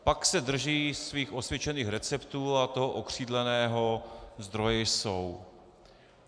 Pak se drží svých osvědčených receptů a toho okřídleného "zdroje jsou".